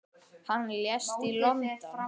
Hann lést í London.